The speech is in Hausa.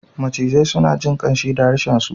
Macizai suna jin ƙanshi da harshensu.